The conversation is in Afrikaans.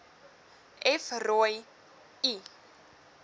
f rooi l